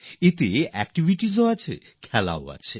এতে একটিভিটিসও আছে খেলাও আছে